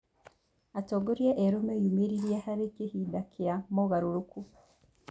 Atongoria erũ meyumĩrĩrie harĩ kĩhinda kĩa mogarũrũku.